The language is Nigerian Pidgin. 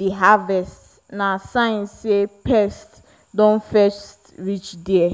the harvest na sign say pest don first reach there.